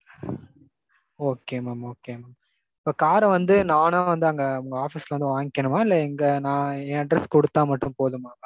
Okay mam okay mam. இப்ப கார வந்து நானா வந்து அங்க உங்க office ல வந்து வாங்கிக்கணுமா? இல்ல எங்க நான் என் address குடுத்தா மட்டும் போதுமா?